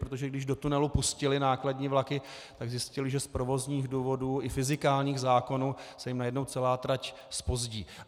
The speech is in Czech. Protože když do tunelu pustili nákladní vlaky, tak zjistili, že z provozních důvodů i fyzikálních zákonů se jim najednou celá trať zpozdí.